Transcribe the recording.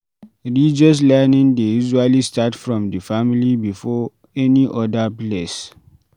Religious learning dey usually start from di family before any oda place